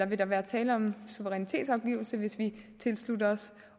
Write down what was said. vil der være tale om en suverænitetsafgivelse hvis vi tilslutter os